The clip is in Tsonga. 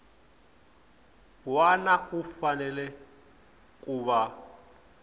wana u fanele ku va